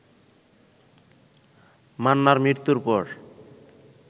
মান্নার মৃত্যুর পর